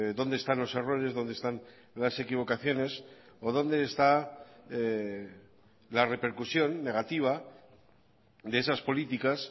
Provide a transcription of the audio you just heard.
dónde están los errores dónde están las equivocaciones o dónde está la repercusión negativa de esas políticas